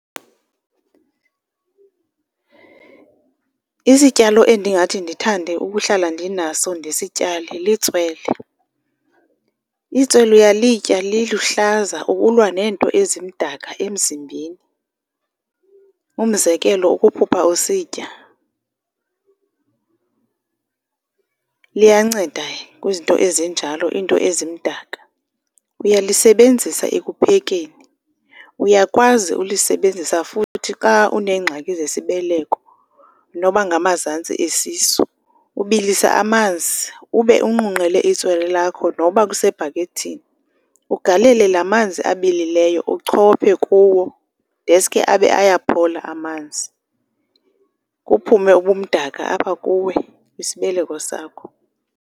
Isityalo endingathi ndithande ukuhlala ndinaso ndisityale litswele. Itswele uyalitya liluhlaza ukulwa neento ezimdaka emzimbeni, umzekelo ukuphupha usitya liyanceda kwizinto ezinjalo, iinto ezimdaka. Uyalisebenzisa ekuphekeni, uyakwazi ulisebenzisa futhi xa uneengxaki zesibeleko noba ngamazantsi esisu. Ubilisa amanzi ube unqunqele itswelo lakho noba kusebhakethini, ugalele laa manzi abilileyo, uchophe kuwo deske abe ayaphola amanzi kuphume ubumdaka apha kuwe kwisibeleko sakho.